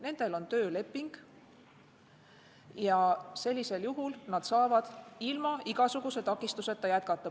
Nendel on tööleping ja sellisel juhul nad saavad ilma igasuguse takistuseta jätkata.